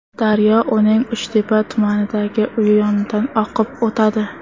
Daryo uning Uchtepa tumanidagi uyi yonidan oqib o‘tadi.